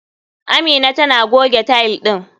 Amina tana goge tile ɗin.